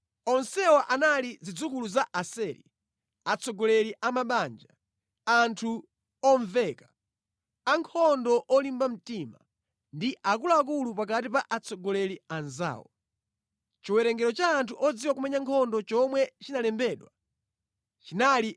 Onsewa anali zidzukulu za Aseri, atsogoleri a mabanja, anthu omveka, ankhondo olimba mtima, ndi akuluakulu pakati pa atsogoleri anzawo. Chiwerengero cha anthu odziwa kumenya nkhondo chomwe chinalembedwa chinali 26,000.